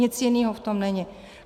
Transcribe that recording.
Nic jiného v tom není.